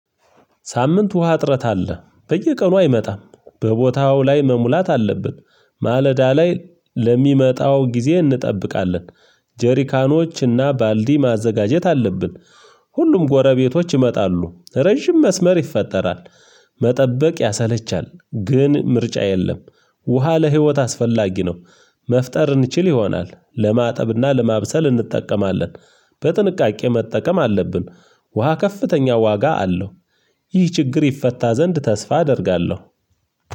ሳምንት ውሃ እጥረት አለ በየቀኑ አይመጣም በቦታው ላይ መሙላት አለብን። ማለዳ ላይ ለሚመጣው ጊዜ እንጠብቃለን። ጀሪካኖችና ባልዲ ማዘጋጀት አለብን። ሁሉም ጎረቤቶች ይመጣሉ ረጅም መስመር ይፈጠራል። መጠበቅ ያሰለቻል ግን ምርጫ የለም። ውሃ ለህይወት አስፈላጊ ነው። መፍጠር እንችል ይሆናል ለማጠብና ለማብሰል እንጠቀማለን። በጥንቃቄ መጠቀም አለብን። ውሃ ከፍተኛ ዋጋ አለው። ይህ ችግር ይፈታ ዘንድ ተስፋ አደርጋለሁ።